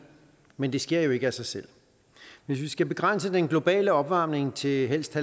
men det sker jo ikke af sig selv hvis vi skal begrænse den globale opvarmning til helst